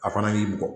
A fana y'i bugɔ